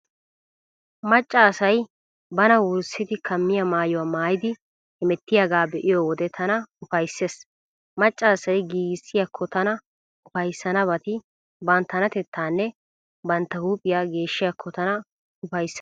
Macca asay bana wurssidi kammiyaa maayuwaa maayidi hemettiyaagaa be'iyo wode tana ufayssees. Macca asay giigissiyaakko tana ufayssanabati banttanatettaanne bantta huuphiyaa geeshshiyaakko tana ufayssana.